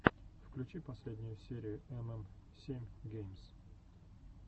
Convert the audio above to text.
включи последнюю серию эм эм семь геймс